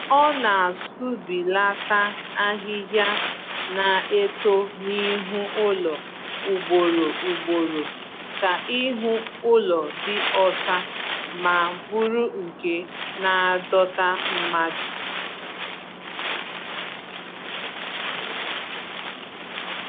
Ọ na-asụbilaata ahịhịa na-eto n'ihu ụlọ ugboro ugboro ka ihu ụlọ dị ọcha ma bụrụ nke na-adọta mmadụ